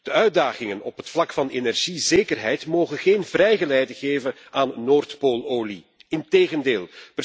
De uitdagingen op het vlak van energiezekerheid mogen geen vrijgeleide geven aan Noordpoololie, integendeel.